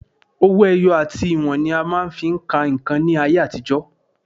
Owó ẹyọ àti ìwọ̀n ni a máa ń fi ń ka nǹkan ní ayé àtijọ́